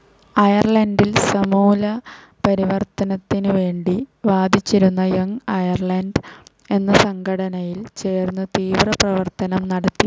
അയർലണ്ടിൽ സമൂല പരിവർത്തനത്തിനുവേണ്ടി വാദിച്ചിരുന്ന യങ്‌ അയർലണ്ട് എന്ന സംഘടനയിൽ ചേർന്ന് തീവ്രപ്രവർത്തനം നടത്തി.